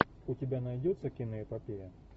у тебя найдется киноэпопея